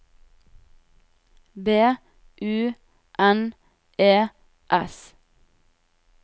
B U N E S